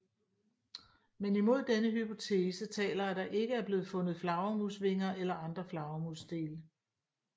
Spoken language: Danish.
Men imod denne hypotese taler at der ikke er blevet fundet flagermusvinger eller andre flagermusdele